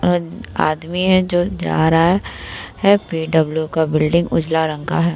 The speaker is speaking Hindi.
अद आदमी है जो जा रहा है | पी.डब्लू. का बिल्डिंग उजला रंग का है।